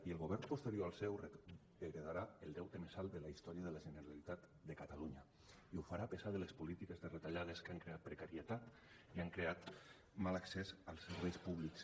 i el govern posterior al seu heretarà el deute més alt de la història de la generalitat de catalunya i ho farà a pesar de les polítiques de retallades que han creat precarietat i han creat mal accés als serveis públics